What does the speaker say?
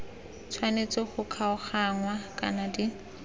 tshwanetse go kgaoganngwa kana di